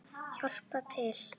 Hjálpað til!